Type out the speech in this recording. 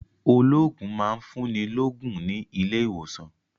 Olóògùn máa ń fún ni lógún ní ilé ìwòsàn